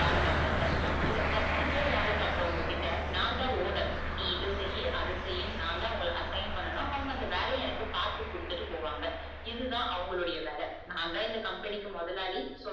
வேல பாக்குறாங்க இந்த பத்து பேர் வேல பாக்குறவங்க கிட்ட நான் தான் owner நீ இத செய்யி அத செய்யினு நான்தான் உங்கள assign பண்ணனும் அவங்க அந்த வேலைய எனக்கு பாத்து கொடுத்துட்டு போவாங்க இதுதா அவங்களுடைய வேல நான்தான் இந்த company க்கு முதலாளி.